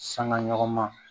Sanga ɲɔgɔn ma